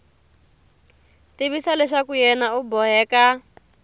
tivisa leswaku yena u boheka